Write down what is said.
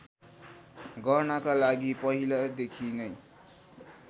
गर्नका लागि पहिलादेखि नै